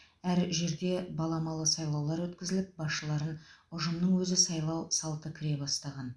әр жерде баламалы сайлаулар өткізіліп басшылары ұжымның өзі сайлау салты кіре бастаған